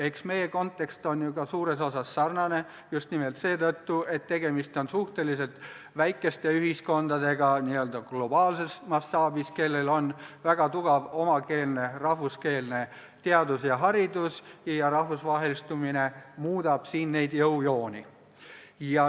Eks meie kontekst on ju ka suures osas sarnane, just nimelt seetõttu, et tegemist on n-ö globaalses mastaabis suhteliselt väikeste ühiskondadega, kellel on väga tugev omakeelne, rahvuskeelne teadus ja haridus, ning rahvusvahelistumine muudab siin jõujooni.